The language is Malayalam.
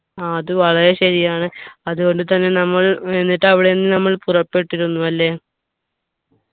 ആ അത് വളരെ ശരിയാണ് അതുകൊണ്ട് തന്നെ നമ്മൾ എന്നിട്ട് അവിടെ നിന്ന് നമ്മൾ പുറപ്പെട്ടിരുന്നു അല്ലെ